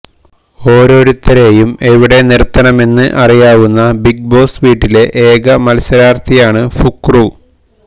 ഓരോരുത്തരെയും എവിടെ നിർത്തണമെന്ന് അറിയാവുന്ന ബിഗ് ബോസ് വീട്ടിലെ ഏക മത്സരാര്ത്ഥിയാണ് ഫുക്രു